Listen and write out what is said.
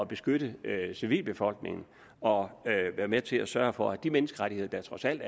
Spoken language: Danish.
beskytte civilbefolkningen og være med til at sørge for at de menneskerettigheder der trods alt